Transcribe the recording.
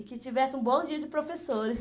E que tivesse um bom dia de professores.